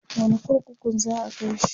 wani kurkukun za'a kaishi?